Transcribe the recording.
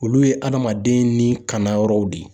Olu ye adamaden ni kanayɔrɔw de ye